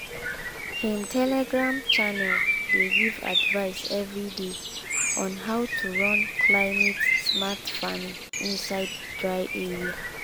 him telegram channel dey give advice everyday on how to run climate-smart farming inside dry area.